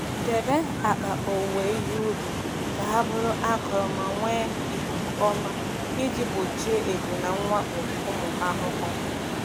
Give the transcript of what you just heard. Debe akpa owuwe ihe ubi ka ha bụrụ akọrọ ma nwee ikuku ọma iji gbochie ebu na mwakpo ụmụ ahụhụ.